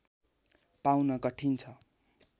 पाउन कठिन छ